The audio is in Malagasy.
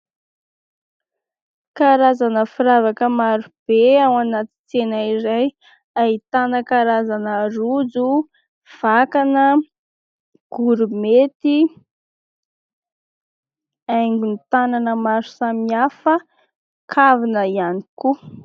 Karazana firavaka marobe ao anaty tsena iray ahitana karazana rojo, vakana, gourmety, haingon'ny tanana maro samihafa, kavina ihany koa.